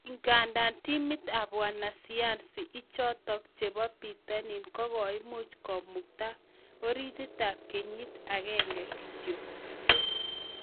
ingandan timit ap wanasayansi ichotok chepo pitonin kogaimuch komukta oritit ap kenyit agenge kityok